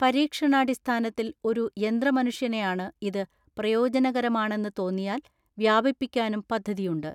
പരീക്ഷണാടിസ്ഥാനത്തിൽ ഒരു യന്ത്രമനുഷ്യനെയാണ് ഇത് പ്രയോജനകരമാണെന്ന് തോന്നിയാൽ വ്യാപിപ്പിക്കാനും പദ്ധതിയുണ്ട്.